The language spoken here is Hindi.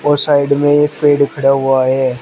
और साइड में एक पेड़ खड़ा हुआ है।